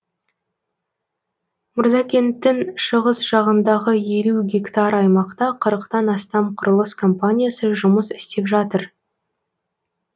мырзакенттің шығыс жағындағы елу гектар аймақта қырықтан астам құрылыс компаниясы жұмыс істеп жатыр